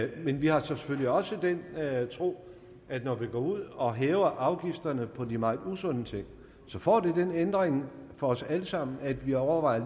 vi har selvfølgelig også den tro at når vi går ud og hæver afgifterne på de mange usunde ting får det den ændring for os alle sammen at vi overvejer